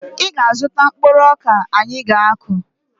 Ị ga-azụta mkpụrụ ọka anyị ga-akụ!